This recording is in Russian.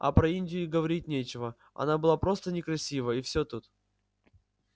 а про индию и говорить нечего она была просто некрасива и всё тут